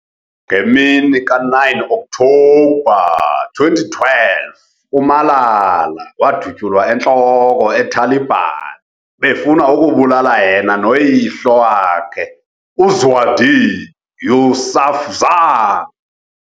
Ngemini ka 9 October 2012, uMalala wadutyulwa entloko eTaliban befuna ukubulala yena no yihlo wakhe uZiauddin Yousafzai.